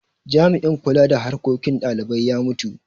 Jami'in kula da harkokin dalibai ya mutu.